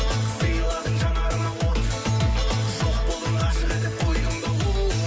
сыйладың жанарыма от жоқ болдың ғашық етіп қойдың да оу